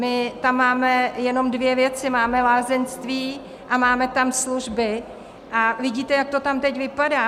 My tam máme jenom dvě věci, máme lázeňství a máme tam služby, a vidíte, jak to tam teď vypadá.